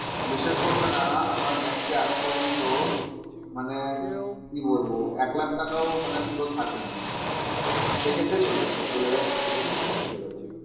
বিশ্বাস করবে না, আমার ব্যাঙ্কে আজ পর্যন্ত মানে কি বলবো? এক লাখ টাকাও মানে পুরো থাকেনি থেকেছে চলে গেছে চলে গেছে থেকেছে চলে গেছে ওরকম।